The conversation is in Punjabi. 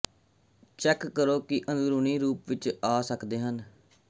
ਚੈੱਕ ਕਰੋ ਕਿ ਅੰਦਰੂਨੀ ਰੂਪ ਵਿੱਚ ਆ ਸਕਦੇ ਹਨ